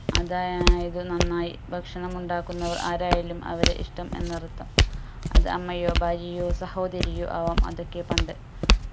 അതായത് നന്നായി ഭക്ഷണം ഉണ്ടാക്കുന്നവർ ആരായാലും അവരെ ഇഷ്ട്ടം എന്നർത്ഥം അത് അമ്മയോ ഭാര്യയോ സഹോദരിയോ ആവാം അതൊക്കെ പണ്ട്